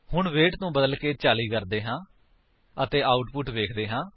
ਹੁਣ ਵੇਟ ਨੂੰ ਬਦਲਕੇ 40 ਕਰਦੇ ਹਾਂ ਅਤੇ ਆਉਟਪੁਟ ਵੇਖਦੇ ਹਾਂ